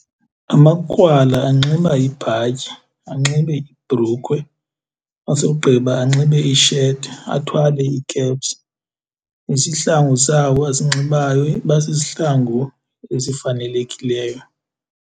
Amakrwala anxiba ibhatyi, anxibe ibhrukhwe asogqiba anxibe isheti athwale ikepsi, isihlangu sabo asinxibayo iba sisihlangu esifanelekileyo.